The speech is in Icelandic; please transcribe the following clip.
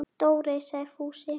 Dóri! sagði Fúsi.